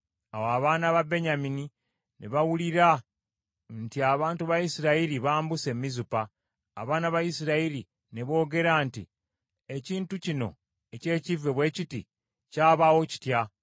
Awo abaana ba Benyamini ne bawulira nti Abantu ba Isirayiri bambuse e Mizupa. Abaana ba Isirayiri ne boogera nti, “Ekintu kino eky’ekivve bwe kiti, kyabaawo kitya?”